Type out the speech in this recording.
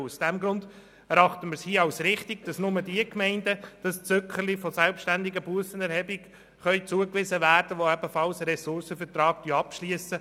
Daher erachten wir es als richtig, dass nur diejenigen Gemeinden das Zückerchen der selbständigen Bussenerhebung erhalten, die einen Ressourcenvertrag abschliessen.